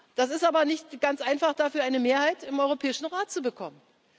Es ist aber nicht ganz einfach, dafür eine Mehrheit im Europäischen Rat zu bekommen.